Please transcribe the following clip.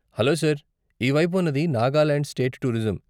Hello sir, ఈ వైపు ఉన్నది నాగాలాండ్ స్టేట్ టూరిజం.